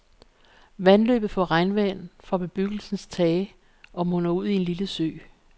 Vandløbet får regnvand fra bebyggelsens tage og munder ud i en lille sø.